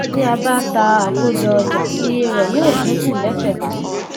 tí a bá ta àkójọ ọjà iye rẹ yóó dínkù lesekese